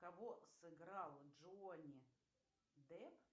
кого сыграл джонни депп